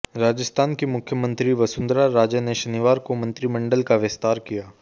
राजस्थान की मुख्यमंत्री वसुंधरा राजे ने शनिवार को मंत्रिमंडल का विस्तार किया